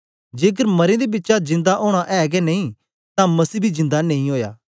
जेकर मरें दे बिचा जिंदा ओना ऐ गै नेई तां मसीह बी जिंदा नेई ओया